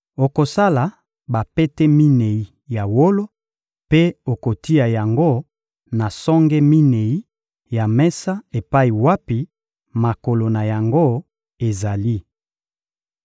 Okosala bapete minei ya wolo mpe okotia yango na songe minei ya mesa epai wapi makolo na yango ezali.